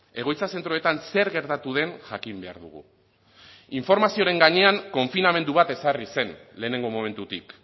egoitza zentroetan zer gertatu den jakin behar dugu informazioaren gainean konfinamendu bat ezarri zen lehenengo momentutik